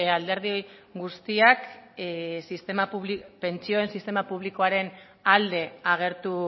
alderdi guztiak pentsioen sistema publikoaren alde agertu